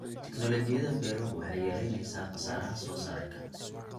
Tiknoolajiyada beeruhu waxay yaraynaysaa khasaaraha soosaarka.